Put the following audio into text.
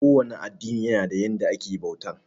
Ko wane addini yana da yanda ake bauta.